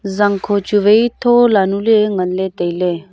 zangkho chu wai thola nuley nganley.